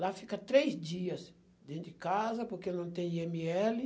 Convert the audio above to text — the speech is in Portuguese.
Lá fica três dias dentro de casa, porque não tem i eme ele.